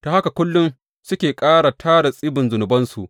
Ta haka kullum suke ƙara tara tsibin zunubansu.